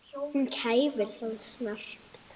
Hún kæfir það snarpt.